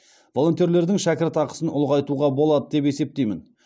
волонтерлердің шәкіртақысын ұлғайтуға болады деп есептеймін